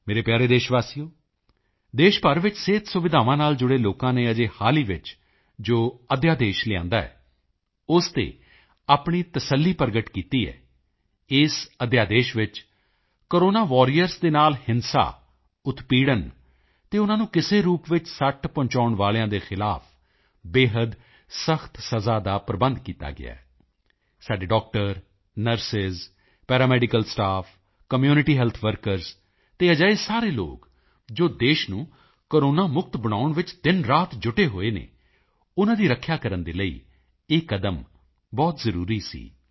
ਮੇਰੇ ਪਿਆਰੇ ਦੇਸ਼ਵਾਸੀਓ ਦੇਸ਼ ਭਰ ਵਿੱਚ ਸਿਹਤ ਸੁਵਿਧਾਵਾਂ ਨਾਲ ਜੁੜੇ ਲੋਕਾਂ ਨੇ ਅਜੇ ਹਾਲ ਹੀ ਵਿੱਚ ਜੋ ਅਧਿਆਦੇਸ਼ ਲਿਆਂਦਾ ਗਿਆ ਹੈ ਉਸ ਤੇ ਆਪਣੀ ਤਸੱਲੀ ਪ੍ਰਗਟ ਕੀਤੀ ਹੈ ਇਸ ਅਧਿਆਦੇਸ਼ ਵਿੱਚ ਕੋਰੋਨਾ ਵਾਰੀਅਰਜ਼ ਦੇ ਨਾਲ ਹਿੰਸਾ ਉਤਪੀੜਨ ਅਤੇ ਉਨ੍ਹਾਂ ਨੂੰ ਕਿਸੇ ਰੂਪ ਵਿੱਚ ਸੱਟ ਪਹੁੰਚਾਉਣ ਵਾਲਿਆਂ ਦੇ ਖ਼ਿਲਾਫ਼ ਬੇਹੱਦ ਸਖ਼ਤ ਸਜ਼ਾ ਦਾ ਪ੍ਰਬੰਧ ਕੀਤਾ ਗਿਆ ਹੈ ਸਾਡੇ doctor nurse paramedical staff community health workers ਅਤੇ ਅਜਿਹੇ ਸਾਰੇ ਲੋਕ ਜੋ ਦੇਸ਼ ਨੂੰ ਕੋਰੋਨਾ ਮੁਕਤ ਬਣਾਉਣ ਵਿੱਚ ਦਿਨਰਾਤ ਜੁਟੇ ਹੋਏ ਹਨ ਉਨ੍ਹਾਂ ਦੀ ਰੱਖਿਆ ਕਰਨ ਦੇ ਲਈ ਇਹ ਕਦਮ ਬਹੁਤ ਜ਼ਰੂਰੀ ਸੀ